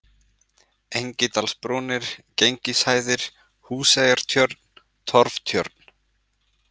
Engidalsbrúnir, Genishæðir, Húseyjartjörn, Torftjörn